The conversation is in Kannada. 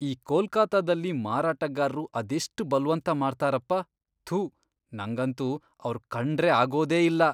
ಈ ಕೊಲ್ಕತ್ತಾದಲ್ಲಿ ಮಾರಾಟಗಾರ್ರು ಅದೆಷ್ಟ್ ಬಲ್ವಂತ ಮಾಡ್ತಾರಪ್ಪ, ಥು, ನಂಗಂತೂ ಅವ್ರ್ ಕಂಡ್ರೆ ಆಗೋದೇ ಇಲ್ಲ.